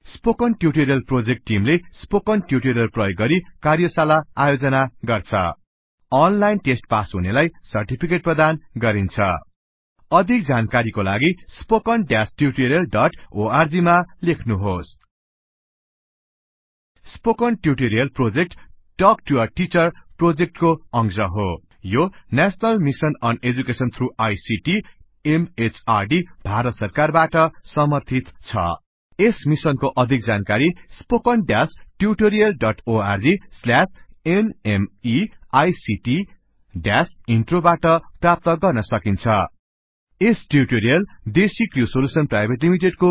spoken tutorial project टिमले spoken tutorials प्रयोग गरि कार्यशाला आयोजना गर्छ अनलाइन टेस्ट पास हुनेलाई सर्टिफिकेट प्रदान गरिन्छ अधिक जानकारीको लागि spoken hyphen tutorial dot org मा लेख्नुहोस spoken tutorial project talk to a teacher प्रोजेक्टको अंश हो यो national mission on education through I C T M H R D Bharat सरकारबाट समर्थित छ यस मिसनको अधिक जानकारी spoken hyphen tutorial dot org slash NMEICT hyphen इन्ट्रोबाट प्राप्त गर्न सकिन्छ यस ट्युटोरिअल डेसिक्र्यु सोल्युशन्स पीवीटी